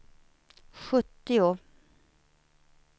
sjuttio